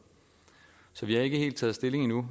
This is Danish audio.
så vi har ikke helt taget stilling endnu